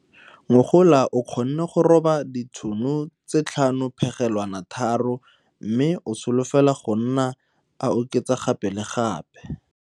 Ngogola o kgonne go roba ditono tse 5,3 mme o solofela go nna a oketsa gape le gape.